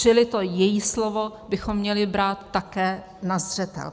Čili to její slovo bychom měli brát také na zřetel.